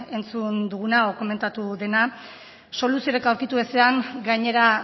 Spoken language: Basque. entzun duguna edo komentatu dena soluziorik aurkitu ezean gainera